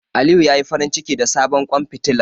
Aliyu ya yi farinciki da sabon ƙwan fitilar.